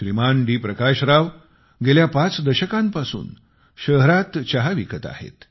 श्रीमान D Prakash Rao गेल्या पाच दशकांपासून शहरात चहा विकत आहेत